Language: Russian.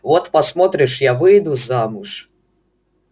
вот посмотришь я выйду замуж